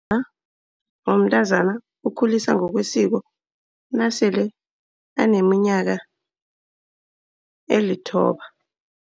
womntazana ukhuliswa ngokwesiko nasele aneminyaka elithoba.